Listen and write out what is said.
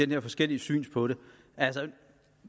med forskellige syn på det altså det